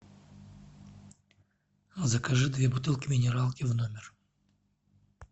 закажи две бутылки минералки в номер